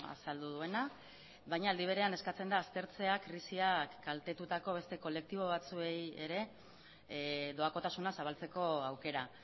azaldu duena baina aldi berean eskatzen da aztertzea krisiak kaltetutako beste kolektibo batzuei ere doakotasuna zabaltzeko aukera